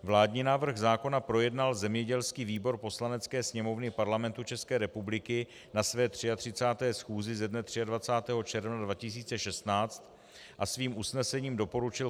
Vládní návrh zákona projednal zemědělský výbor Poslanecké sněmovny Parlamentu České republiky na své 33. schůzi ze dne 23. června 2016 a svým usnesením doporučil